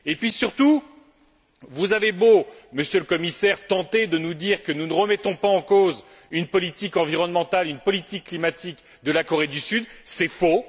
Et puis, surtout, vous avez beau, Monsieur le Commissaire, tenter de nous dire que nous ne remettons pas en cause une politique environnementale, une politique climatique de la Corée du Sud, c'est faux!